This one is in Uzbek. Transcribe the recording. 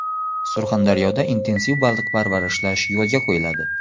Surxondaryoda intensiv baliq parvarishlash yo‘lga qo‘yiladi.